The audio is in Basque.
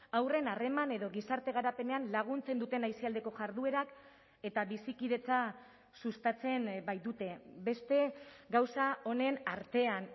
haurren harreman edo gizarte garapenean laguntzen duten aisialdiko jarduerak eta bizikidetza sustatzen baitute beste gauza onen artean